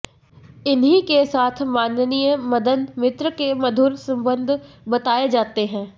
इन्हीं के साथ माननीय मदन मित्र के मधुर संबंध बताये जाते हैं